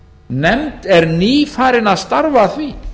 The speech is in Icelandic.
nefnd er nýfarin að starfa að því